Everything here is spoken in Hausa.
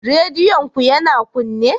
Rediyon ku yana kunne?